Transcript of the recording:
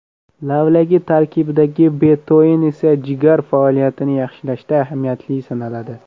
Lavlagi tarkibidagi betoin esa jigar faoliyatini yaxshilashda ahamiyatli sanaladi.